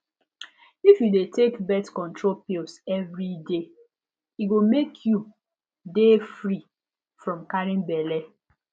if u de take brith control pills everyday e go mk you de free from carrying belle